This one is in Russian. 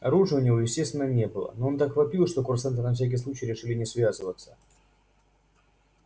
оружия у него естественно не было но он так вопил что курсанты на всякий случай решили не связываться